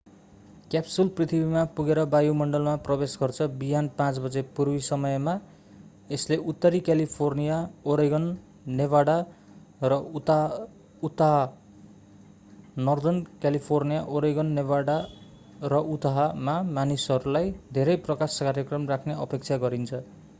Capsule पृथ्वीमा पुगेर वायुमण्डलमा प्रवेश गर्छ बिहान 5 बजे पूर्वी समय मा यसले उत्तरी क्यालिफर्निया ओरेगन नेभादा र Utah northern california oregon nevada and utah मा मानिसहरूलाई धेरै प्रकाश कार्यक्रम राख्ने अपेक्षा गरिन्छ।